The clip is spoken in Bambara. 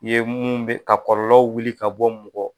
Ye minnu bɛ ka kɔlɔlɔw wuli ka bɔ mɔgɔw kan